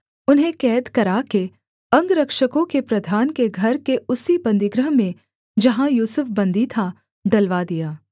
उन्हें कैद कराके अंगरक्षकों के प्रधान के घर के उसी बन्दीगृह में जहाँ यूसुफ बन्दी था डलवा दिया